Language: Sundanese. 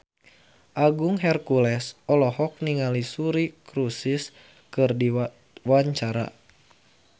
Agung Hercules olohok ningali Suri Cruise keur diwawancara